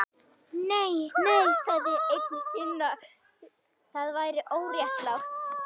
Nei, nei sagði einn hinna, það væri óréttlátt